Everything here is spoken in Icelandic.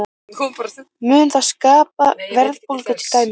Mun það skapa verðbólgu til dæmis?